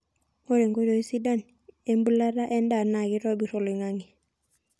ore nkoitoi sidan embulata endaa naa keitobir oloingangi